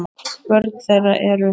Börn þeirra eru